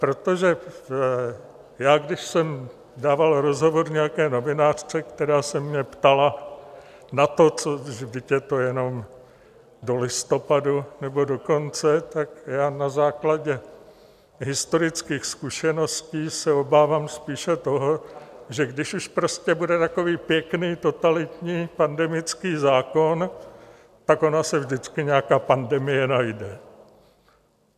Protože já když jsem dával rozhovor nějaké novinářce, která se mě ptala na to, co, vždyť je to jenom do listopadu nebo do konce, tak já na základě historických zkušeností se obávám spíše toho, že když už prostě bude takový pěkný totalitní pandemický zákon, tak ona se vždycky nějaká pandemie najde.